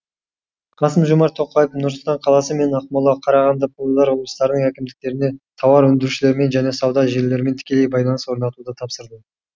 қасым жомарт тоқаев нұр сұлтан қаласы мен ақмола қарағанды павлодар облыстарының әкімдіктеріне тауар өндірушілермен және сауда желілерімен тікелей байланыс орнатуды тапсырды